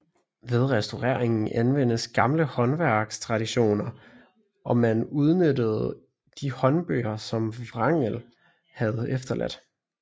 Ved restaureringen anvendes gamle håndværkstraditioner og man udnyttede de håndbøger som Wrangel havde efterladt